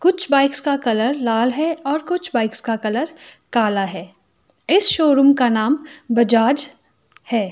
कुछ बाइक्स का कलर लाल है और कुछ बाइक्स का कलर काला है इस शोरूम का नाम बजाज है।